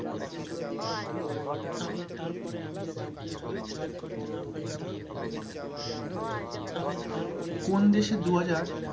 কোন দেশে দু হাজার,